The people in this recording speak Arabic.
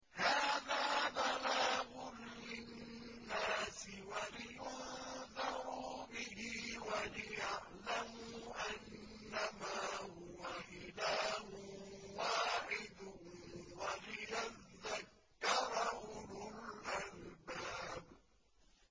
هَٰذَا بَلَاغٌ لِّلنَّاسِ وَلِيُنذَرُوا بِهِ وَلِيَعْلَمُوا أَنَّمَا هُوَ إِلَٰهٌ وَاحِدٌ وَلِيَذَّكَّرَ أُولُو الْأَلْبَابِ